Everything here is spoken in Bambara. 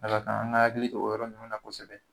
A ka kan a ka akili to o yɔrɔ nunnu na kosɛbɛ